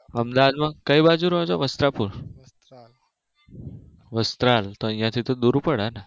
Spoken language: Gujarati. અમદાવાદમાં કયી બાજુ રહો છો? વસ્ત્રાપુર વસ્ત્રાલ તો અહિયાં થી દુર પડેને